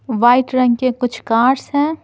White रंग के कुछ कार्स हैं।